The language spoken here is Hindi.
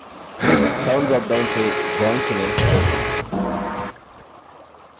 sound dropdown से gong चुनें